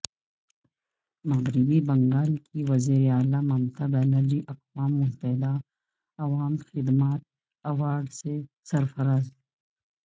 مغربی بنگال کی وزیر اعلی ممتا بنرجی اقوام متحدہ عوامی خدمات ایوارڈ سے سرفراز